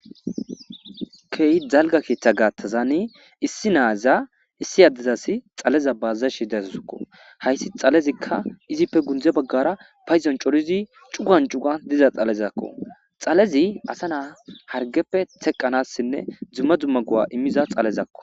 key dalga keeththa gaattazani issi naaza issi addezas xaleza baazashi deasusakko hayssi xalezikka izippe gundze baggara payzon corizi cugan cuga diza xalezakko xalezi asa naa hargeppe teqqanassinne dzumma dzumma gu7a immiza xalezakko